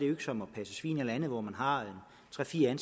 som at passe svin eller andet hvor man har tre fire